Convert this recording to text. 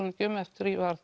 nú ekki um eftir að ég